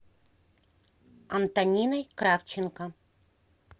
антониной кравченко